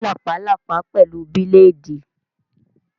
Scratch the ringworm with blade!